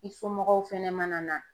I somɔgɔw fɛnɛ mana na